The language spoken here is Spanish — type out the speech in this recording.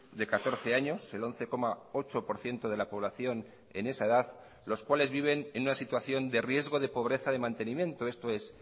de catorce años el once coma ocho por ciento de la población en esa edad los cuales viven en una situación de riesgo de pobreza de mantenimiento esto es